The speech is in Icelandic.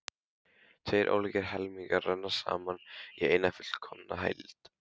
Tveir ólíkir helmingar renna saman í eina fullkomna heild.